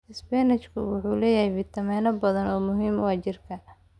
Isbaanishku wuxuu leeyahay fitamiinno badan oo muhiim u ah jidhka.